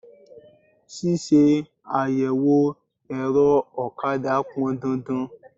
Ṣíṣe àyẹ̀wò ẹ̀rọ ọ̀kadà pọn dandan.